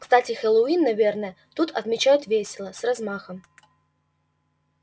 кстати хэллоуин наверное тут отмечают весело с размахом